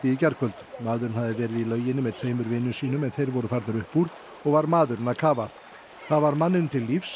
í gærkvöld maðurinn hafði verið í lauginni með tveimur vinum sínum en þeir voru farnir upp úr og var maðurinn að kafa það varð manninum til lífs